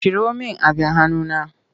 Ciro min abin hanuna!